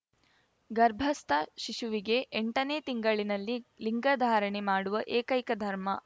ಗರ್ಭಸ್ಥ ಶಿಶುವಿಗೆ ಎಂಟನೇ ತಿಂಗಳಿನಲ್ಲಿ ಲಿಂಗಧಾರಣೆ ಮಾಡುವ ಏಕೈಕ ಧರ್ಮ